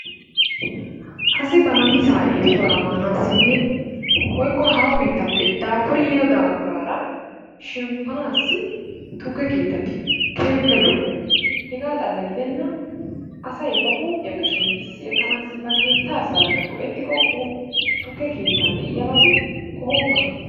Assi ba namissaa esuwaraa manassinne wotko hahoo bittappe dapuriddi yiddo daguraara shempanassi tukke kettati kehippe lo'o hega xala gidenani asay ba huphiyaa shempissi ekanassi ba kettaa asarakka go'ettikko tukke kettani de'iyabati qohokonna.